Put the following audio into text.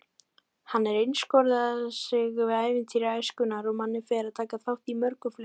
Hann einskorðar sig við ævintýri æskunnar og Manni fær að taka þátt í mörgum þeirra.